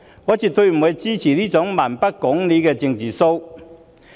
我絕不支持這種蠻不講理的"政治騷"。